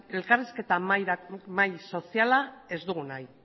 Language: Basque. elkarrizketa mahai soziala ez dugu nahi